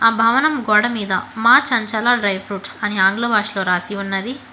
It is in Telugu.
ఆ భవనం గోడ మీద మా చంచాల డ్రై ఫ్రూట్స్ అని ఆంగ్ల భాషలో రాసి ఉన్నది.